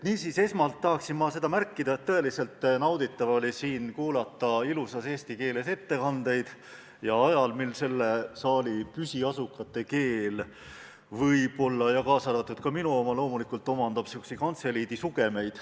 Esmalt tahaksin ma märkida, et tõeliselt nauditav oli siin kuulata ilusas eesti keeles peetud ettekandeid ajal, kui selle saali püsiasukate keel – kaasa arvatud minu oma – omandab võib-olla niisuguseid kantseliidi sugemeid.